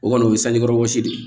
O kɔni o ye kɔrɔbɔrɔsi de ye